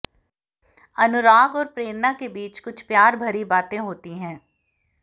अनुराग और प्रेरणा के बीच कुछ प्यार भरी बातें होती है